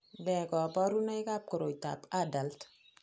Nee kabarunoikab koroitoab ADULT?